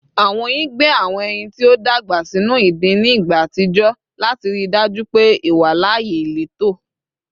Awọn oyin gbe awọn ẹyin ti o dagba sinu idin ni igba atijọ lati rii daju pe iwalaaye ileto